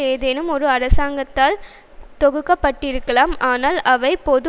ஏதேனும் ஒரு அரசாங்கத்தால் தொகுக்கப்பட்டிருக்கலாம் ஆனால் அவை பொது